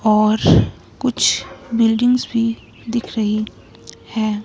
और कुछ बिल्डिंग्स भी दिख रही है।